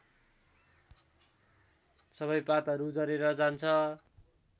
सबै पातहरू झरेर जान्छ